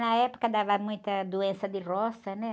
Na época dava muita doença de roça, né?